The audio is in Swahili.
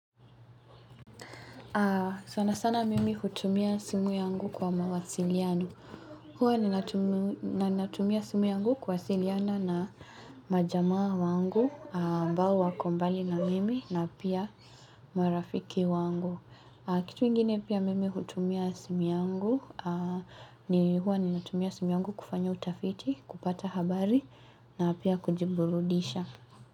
Sana sana mimi hutumia simu yangu kwa mawasiliano. Huwa ninatumia simu yangu kuwasiliana na majamaa wangu, ambao wako mbali na mimi na pia marafiki wangu. Kitu ingine pia mimi hutumia simu yangu, ni huwa ni natumia simu yangu kufanya utafiti, kupata habari na pia kujiburudisha.